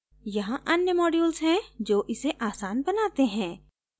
यहाँ अन्य modules है जो इसे आसान बनाते हैं